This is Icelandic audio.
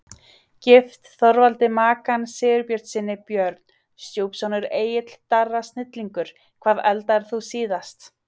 Gift Þorvaldi Makan Sigbjörnssyni Börn: Stjúpsonur Egill Darri snillingur Hvað eldaðir þú síðast?